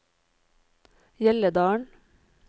Hjelledalen